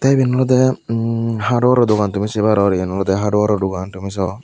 te eben olode emm hardwaro dogan tumi se paror eyen olodey hardwaro dogan tumi soh.